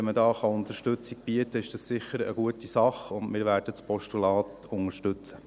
Wenn man da Unterstützung bieten kann, ist das sicher eine gute Sache, und wir werden das Postulat unterstützen.